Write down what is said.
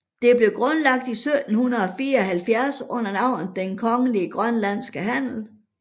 Det blev grundlagt i 1774 under navnet Den Kongelige Grønlandske Handel